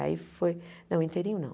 Aí foi... Não, inteirinho não.